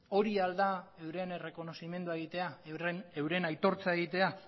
hori al da euren errekonozimendua egitea euren aitortza egitea